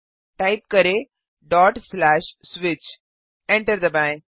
type करें160switch enter दबाएँ